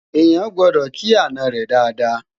eyan gbọdọ kì àná rè Dàda